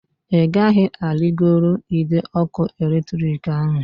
Ị gaghị arigoro ide ọkụ eletrik ahu!